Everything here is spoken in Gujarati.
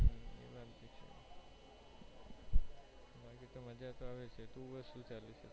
મજ્જા તોઆવે છે તું બોલ શું ચાલે છે